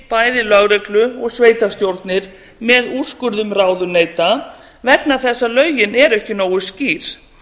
bæði lögreglu og sveitarstjórnir með úrskurðum ráðuneyta vegna þess að lögin eru ekki nógu skýr